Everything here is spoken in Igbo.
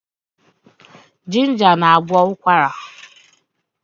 Ginger na-agwọ ụkwara.